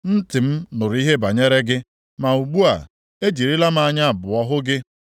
Ntị m nụrụ ihe banyere gị ma ugbu a, ejirila m anya abụọ hụ gị.